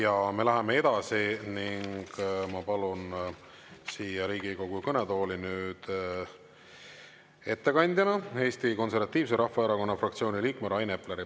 Ja me läheme edasi ning ma palun siia Riigikogu kõnetooli nüüd ettekandjana Eesti Konservatiivse Rahvaerakonna fraktsiooni liikme Rain Epleri.